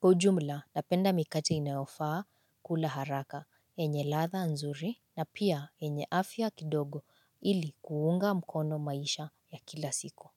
Kwa ujumla napenda mikate inaofaa kula haraka yenye ladha nzuri na pia yenye afya kidogo ili kuunga mkono maisha ya kila siku.